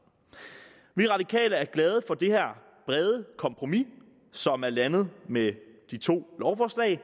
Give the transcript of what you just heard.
vi radikale er glade for det her brede kompromis som er landet med de to lovforslag